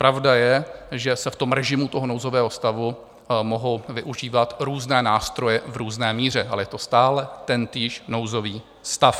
Pravda je, že se v tom režimu toho nouzového stavu mohou využívat různé nástroje v různé míře, ale je to stále tentýž nouzový stav.